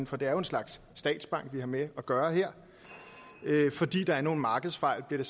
for det er jo en slags statsbank vi har med at gøre her det er fordi der er nogle markedsfejl bliver